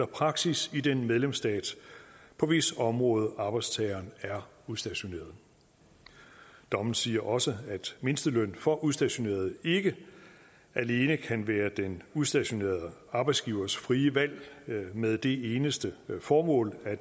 praksis i den medlemsstat på hvis område arbejdstageren er udstationeret dommen siger også at mindsteløn for udstationerede ikke alene kan være den udstationerede arbejdsgivers frie valg med det eneste formål at